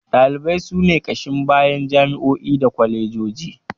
Ɗalibai su ne ƙashin bayan jami'o'i da kwalejoji